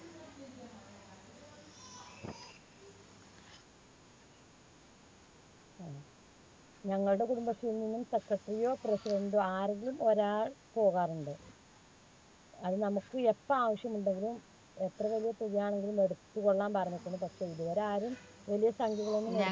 ഞങ്ങൾടെ കുടുംബശ്രീയിൽനിന്നും secretary യോ President ഓ ആരെങ്കിലും ഒരാൾ പോകാറുണ്ട്. അത് നമ്മുക്ക് എപ്പോ ആവശ്യമുണ്ടെങ്കിലും എത്ര വലിയ തുകയാണെങ്കിലും എടുത്തുകൊള്ളാൻ പറഞ്ഞിട്ടുണ്ട്. പക്ഷേ ഇതുവരെ ആരും വലിയ സംഖ്യകളൊന്നും